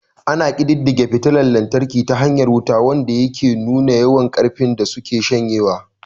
Ana ƙididdige fitila lantarki ta hanyar wat, wanda yake nuna yawan ƙarfin da suke shanyewa.